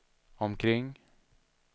omkring